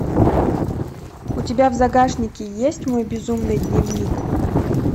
у тебя в загашнике есть мой безумный дневник